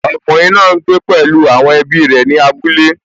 Ọkùnrin náà n gbé pẹ̀lú àwọn ẹbí rẹ̀ ní abúlé